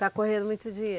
Está correndo muito dinheiro.